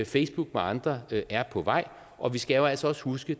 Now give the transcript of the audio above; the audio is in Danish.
facebook og andre er på vej og vi skal jo altså også huske